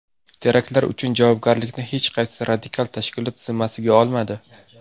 Teraktlar uchun javobgarlikni hech qaysi radikal tashkilot zimmasiga olmadi.